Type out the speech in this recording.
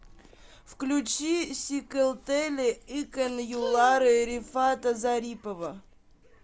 включи сикэлтэле икэн юллары рифата зарипова